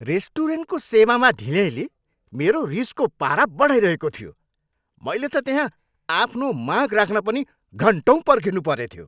रेस्टुरेन्टको सेवामा ढिल्याइँले मेरो रिसको पारा बढाइरहेको थियो। मैले त त्यहाँ आफ्नो माग राख्न पनि घन्टौँ पर्खिनु परेथ्यो।